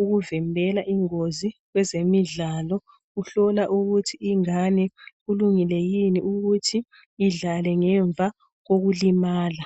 ukuvimbela ingozi kwezemidlalo. Uhlola ukuthi ingane kulungile yini ukuthi idlale ngemva kokulimala.